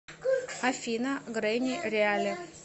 афина грэни реали